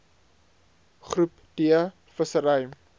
groep d vissery